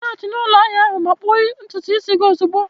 Laghachi na ụlọ ahia ahụ ma kpụọ ntutu isi gị ozugbo a!